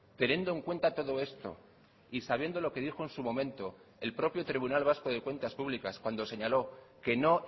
teniendo en cuenta todo esto y sabiendo lo que dijo en su momento el propio tribunal vasco de cuentas públicas cuando señaló que no